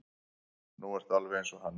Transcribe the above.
Nú ertu alveg eins og hann.